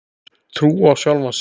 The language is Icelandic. Trú á sjálfan sig.